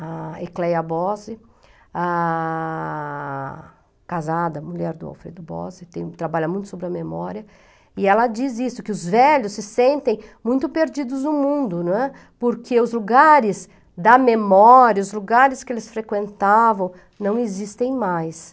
A Ecleia Bose, ah, casada, mulher do Alfredo Bose, trabalha muito sobre a memória, e ela diz isso, que os velhos se sentem muito perdidos no mundo, não é, porque os lugares da memória, os lugares que eles frequentavam, não existem mais.